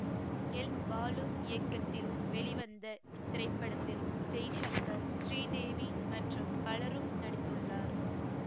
L Balu இயக்கத்தில் வெளிவந்த இத்திரைப்படத்தில் ஜெய்சங்கர் ஸ்ரீதேவி மற்றும் பலரும் நடித்துள்ளார்